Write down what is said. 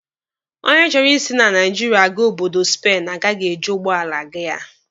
Onye chọrọ isi na Naijiria aga obodo Spen agaghị eji ụgbọala aga ya